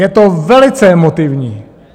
Je to velice emotivní.